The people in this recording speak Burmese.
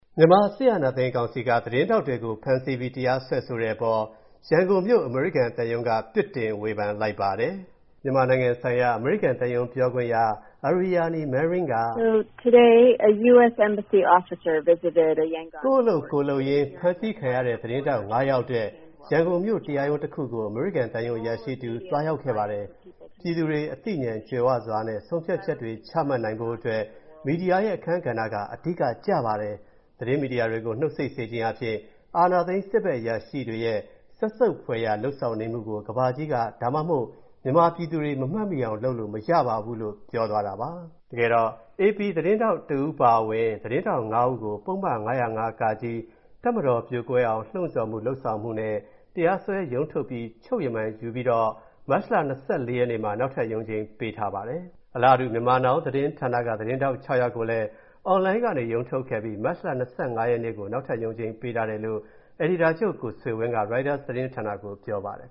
မြန်မာ အာဏာသိမ်း စစ်ကောင်စီက သတင်းထောက်တွေကို ဖမ်းဆီးပြီး တရားစွဲဆိုတဲ့အပေါ် ရန်ကုန်မြို့၊ အမေရိကန်သံရုံးက ပြစ်တင် ဝေဖန်လိုက်ပါတယ်။ "ကိုယ့်အလုပ် ကိုယ်လုပ်ရင်း ဖမ်းဆီးခံရတဲ့ သတင်းထောက်ငါးယောက်အတွက် ရန်ကုန်မြို့ တရားရုံးတစ်ခုကို အမေရိကန်သံရုံး အရာရှိတဦး သွားရောက်ခဲ့ပါတယ်။ ပြည်သူတွေ သိဉာဏ်ကြွယ်ဝစွာနဲ့ ဆုံးဖြတ်ချက်တွေ ချမှတ်ဖို့အတွက် မီဒီယာရဲ့အခန်းကဏ္ဍက အဓိကကျပါတယ်။ သတင်းမီဒီယာတွေကို နှုတ်ဆိတ်စေခြင်းအားဖြင့် အာဏာသိမ်းစစ်ဘက်အရာရှိတွေရဲ့ စက်ဆုပ်ဖွယ်ရာ လုပ်ဆောင်နေမှုကို ကမ္ဘာကြီးက ဒါမှမဟုတ် မြန်မာပြည်သူတွေက မမှတ်မိအောင် လုပ်လို့မရပါဘူး" လို့ မြန်မာနိုင်ငံဆိုင်ရာ အမေရိကန်သံရုံးပြောခွင့်ရ Aryani Manring က ဗွီအိုအေကိုပြောပါတယ်။ အေပီသတင်းထောက်အပါအဝင် သတင်းထောက်ငါးဦးကို ပုဒ်မ ၅၀၅ (က) တပ်မတော်ပြိုကွဲအောင် လှုံ့ဆော်မှု၊ လုပ်ဆောင်မှုနဲ့ တရားစွဲ ရုံးထုတ်ပြီး ချုပ်ရမန်ထပ်ယူပြီးတော့ မတ်လ ၂၄ ရက်နေ့မှာ နောက်ထပ်ရုံးချိန်း ပေးထားပါတယ်။ အလားတူ Myanmar Now သတင်းဌာနက သတင်းထောက် ၆ ယောက်ကိုလည်း အွန်လိုင်းကနေ ရုံးထုတ်ခဲ့ပြီး မတ်လ ၂၅ ရက်နေ့ကို နောက်ထပ်ရုံးချိန်းပေးထားတယ်လို့ အယ်ဒီတာချုပ် ကိုဆွေဝင်းက ရိုက်တာသတင်းဌာနကိုပြောပါတယ်